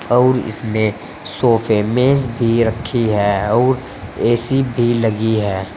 अउर इसमें सोफे मेज भी रखी है और ए_सी भी लगी है।